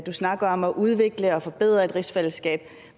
snakker om at udvikle og forbedre et rigsfællesskab